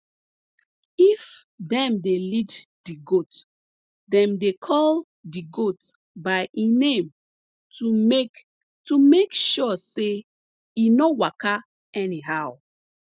if dem dey lead d goat dem dey call d goat by e name to make to make sure say e no waka anyhow